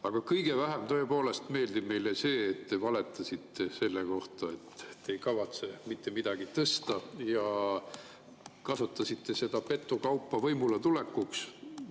Aga kõige vähem tõepoolest meeldib meile see, et te valetasite selle kohta, et te ei kavatse mitte midagi tõsta, ja kasutasite seda petukaupa võimuletulekuks.